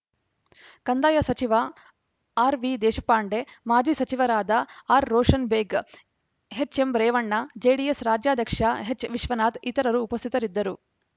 ಕಂದಾಯ ಸಚಿವ ಆರ್‌ವಿದೇಶಪಾಂಡೆ ಮಾಜಿ ಸಚಿವರಾದ ಆರ್‌ರೋಷನ್‌ಬೇಗ್‌ ಎಚ್‌ಎಂರೇವಣ್ಣ ಜೆಡಿಎಸ್‌ ರಾಜ್ಯಾಧ್ಯಕ್ಷ ಎಚ್‌ವಿಶ್ವನಾಥ್‌ ಇತರರು ಉಪಸ್ಥಿತರಿದ್ದರು